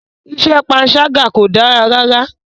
Iṣẹ́ panṣágà kò dára rárá.